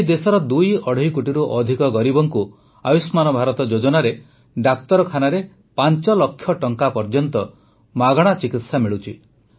ଆଜି ଦେଶର ଦୁଇଅଢ଼େଇ କୋଟିରୁ ଅଧିକ ଗରିବଙ୍କୁ ଆୟୁଷ୍ମାନ ଭାରତ ଯୋଜନାରେ ଡାକ୍ତରଖାନାରେ ୫ ଲକ୍ଷ ଟଙ୍କା ପର୍ଯ୍ୟନ୍ତ ମାଗଣା ଚିକିତ୍ସା ମିଳୁଛି